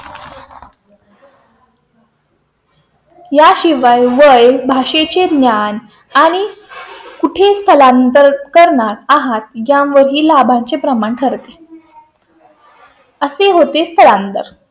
याशिवाय वय भाषेचे ज्ञान आणि कुठे स्थलांतर करणार आहात यावर ही लाभा चे प्रमाण ठरते . असे होते तर आमदार.